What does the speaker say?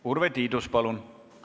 Urve Tiidus, palun!